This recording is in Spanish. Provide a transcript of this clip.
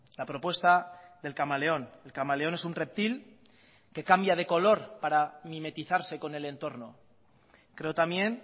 la propuesta del camaleón el camaleón es un reptil que cambia de color para mimetizarse con el entorno creo también